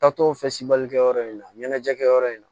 Taatɔ kɛ yɔrɔ in na ɲɛnajɛ kɛyɔrɔ in na